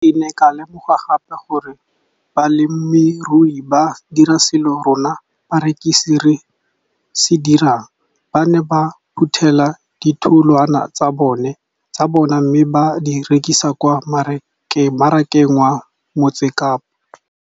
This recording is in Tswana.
Ke ne ka lemoga gape gore balemirui ba dira seo rona barekisi re se dirang ba ne ba phuthela ditholwana tsa bona mme ba di rekisa kwa marakeng wa Motsekapa.